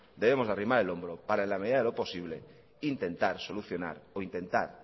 debemos de arrimar el hombro para en la medida de lo posible intentar solucionar o intentar